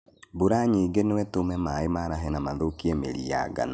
Mbura nyingĩ nũĩtũme maĩ marahe na mathũkie mĩri ya ngano.